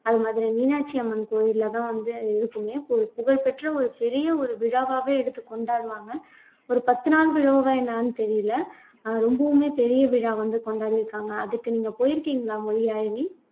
அது மாதிரி மீனாட்சி அம்மன் கோயில்லதான் வந்து இருக்குமே ஒரு புகழ்பெற்ற ஒரு பெரிய ஒரு விழாவாவே எடுத்து கொண்டாடுவாங்க ஒரு பத்து நாள் விழாவா என்னன்னு தெரியலே அஹ் ரொம்பவுமே பெரிய விழா வந்து கொண்டாடிருக்காங்க அதுக்கு நீங்க போயிருக்கீங்களா மொழியாழினி